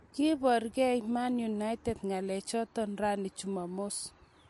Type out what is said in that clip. Keboroi Man United ng'alechoto rani Jumamos